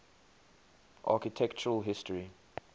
architectural history